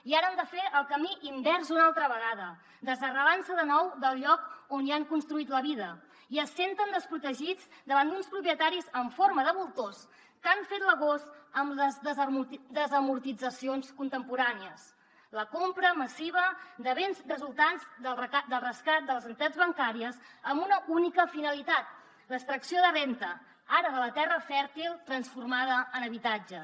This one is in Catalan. i ara han de fer el camí invers una altra vegada desarrelant se de nou del lloc on hi han construït la vida i es senten desprotegits davant d’uns propietaris en forma de voltors que han fet l’agost amb les desamortitzacions contemporànies la compra massiva de béns resultants del rescat de les entitats bancàries amb una única finalitat l’extracció de renda ara de la terra fèrtil transformada en habitatges